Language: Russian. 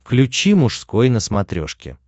включи мужской на смотрешке